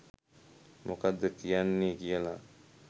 මොකක්ද කියන්නෙ කියලා